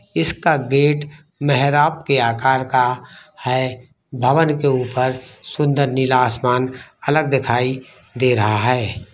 इसका गेट मेहराब के आकार का है भवन के ऊपर सुंदर नीला आसमान अलग दिखाई दे रहा है।